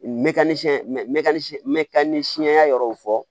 Mɛ ni siɲɛya yɔrɔw fɔ